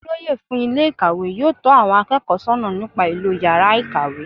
Olóyè fún Ilé ìkàwé yóò tó àwon akéèkó sónà nípa ìlò yàrá ìkàwé